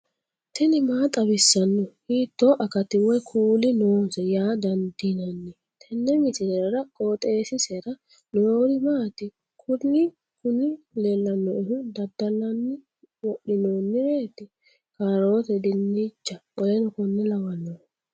tini maa xawissanno ? hiitto akati woy kuuli noose yaa dandiinanni tenne misilera? qooxeessisera noori maati? kuni kuni leellannoehu dadallanni wodhinoonireti kaaroote dincha w.k.l